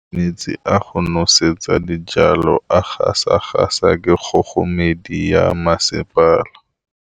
Metsi a go nosetsa dijalo a gasa gasa ke kgogomedi ya masepala.